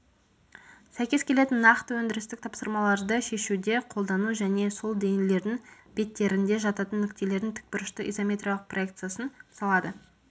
сәйкес келетін нақты өндірістік тапсырмаларды шешуде қолдану және сол денелердің беттерінде жататын нүктелердің тікбұрышты изометриялық проекциясын салады